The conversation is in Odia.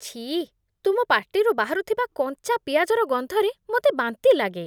ଛିଃ, ତୁମ ପାଟିରୁ ବାହାରୁଥିବା କଞ୍ଚା ପିଆଜର ଗନ୍ଧରେ ମୋତେ ବାନ୍ତି ଲାଗେ।